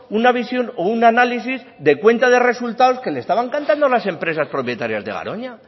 una visión o un análisis de cuenta de resultados que le estaban cantando las empresas propietarias de garoña